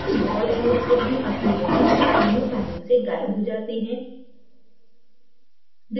यदि ball and stickभी अक्रिय है तो अणु panelसे गायब हो जाते हैं